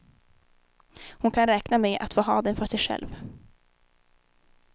Hon kan räkna med att få ha dem för sig själv.